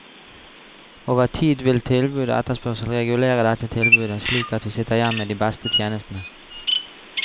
Over tid vil tilbud og etterspørsel regulere dette tilbudet, slik at vi sitter igjen med de beste tjenestene.